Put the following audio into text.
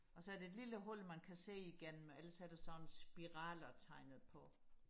og så er der et lille hul man kan se igennem ellers er der sådan spiraler tegnet på